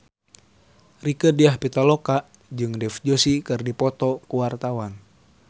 Rieke Diah Pitaloka jeung Dev Joshi keur dipoto ku wartawan